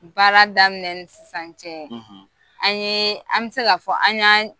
Baara daminɛ ni sisan cɛ an ye an bɛ se k'a fɔ an y'an